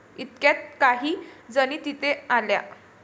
इतक्यात काही जणी तिथे आल्या.